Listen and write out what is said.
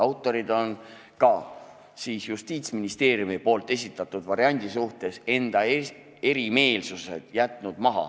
Autorid on ka Justiitsministeeriumi esitatud variandi suhtes enda erimeelsused maha jätnud.